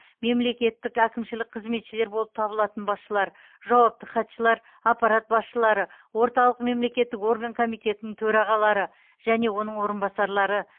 мемлекеттік әкімшілік қызметшілер болып табылатын басшылар жауапты хатшылар аппарат басшылары орталық мемлекеттік орган комитеттерінің төрағалары және оның орынбасарлары